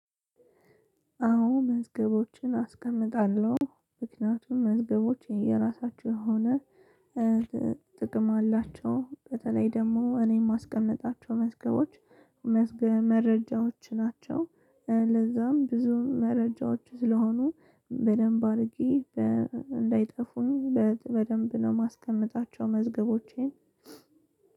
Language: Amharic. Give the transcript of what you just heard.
አዎ መዝገቦችን አስቀምጣለሁ ምክንያቱም መዝገቦች የራሳቸው የሆነ ጥቅም አላቸው። በተለይ ደግሞ እኔም የማስቀምጣቸው መዝገቦች መዝገ መረጃዎች ናቸው። ለዛም ብዙ መረጃዎች ስለሆኑ በደንብ አድርጌ እንዳይጠፉኝ በ በደንብ ነው የማስቀምጣቸው። መዝገቦቼን